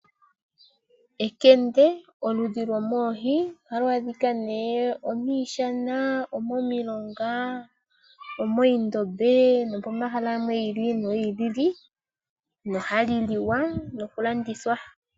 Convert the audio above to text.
Ekende oludhi lwo moohi. Oha lu adhika nee omiishana, omomiilonga, omoondombe no pomahala giili nogiili. No hali liwa noku landithwa.